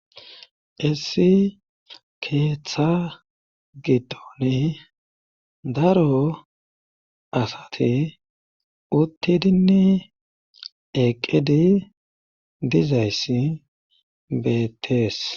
Issi keeththa gidone daro asate uttidinne eqqidi dizayssi betees.